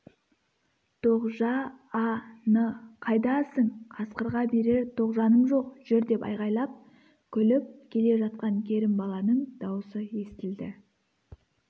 тоғжа-а-н қайдасың қасқырға берер тоғжаным жоқ жүр деп айғайлап күліп жүгіріп келе жатқан керімбаланың даусы естілді